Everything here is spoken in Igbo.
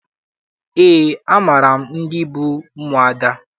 Eé, amaara m ndị bụ ụmụada.